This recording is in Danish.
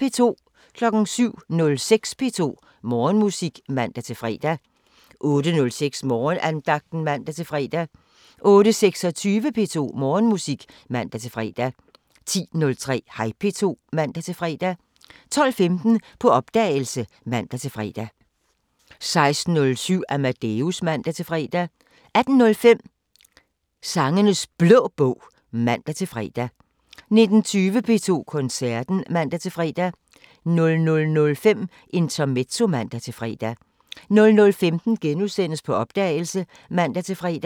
07:06: P2 Morgenmusik (man-fre) 08:06: Morgenandagten (man-fre) 08:26: P2 Morgenmusik (man-fre) 10:03: Hej P2 (man-fre) 12:15: På opdagelse (man-fre) 16:07: Amadeus (man-fre) 18:05: Sangenes Blå Bog (man-fre) 19:20: P2 Koncerten (man-fre) 00:05: Intermezzo (man-fre) 00:15: På opdagelse *(man-fre)